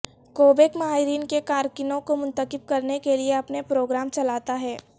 کوبیک ماہرین کے کارکنوں کو منتخب کرنے کے لئے اپنے پروگرام چلاتا ہے